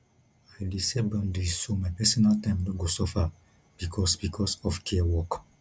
i dey set boundaries so my personal time no go suffer because because of care work